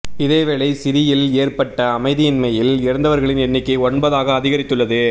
இதேவேளை சிறியில் ஏற்பட்ட அமைதியின்மையில் இறந்தவர்களின் எண்ணிக்கை ஒன்பது ஆக அதிகரித்துள்ளது